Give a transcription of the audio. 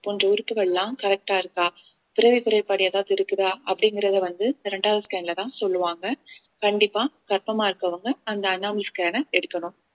போன்ற உறுப்புகள் எல்லாம் correct ஆ இருக்கா பிறவி குறைபாடு ஏதாவது இருக்குதா அப்படிங்கறத வந்து இரண்டாவது scan லதான் சொல்லுவாங்க கண்டிப்பா கர்ப்பமா இருக்கிறவங்க அந்த scan அ எடுக்கணும்